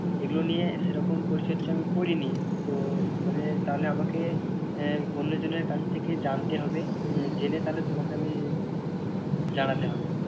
এগুলো নিয়ে সেরকম পরিচর্যা আমি করিনি তো মানে তাহলে আমাকে আহ অন্যজনের কাছ থেকে জানতে আহ হবে জেনে তাহলে তোমাকে আমি জানাতে হবে।